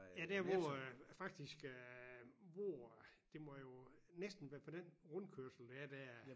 Ja der hvor øh faktisk øh hvor det må jo næsten være fra den rundkørsel der er der